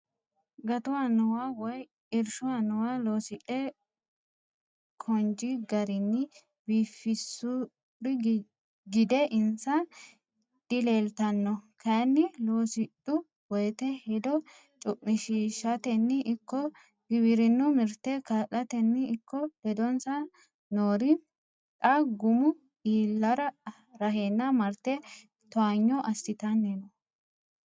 Gatu anuwa woyi irshu annuwa loosidhe konj garinni biifisuri gide insa dileeltano kayinni loosidhu woyte hedo cumishishateni ikko giwirinu mirte kaa'latenni ikko ledonsa noori xa gumu iilla rahenna marte towaanyo assittanni no.